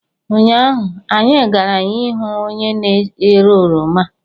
Ụnyaahụ, anyị gara ihu onye na-ere oroma.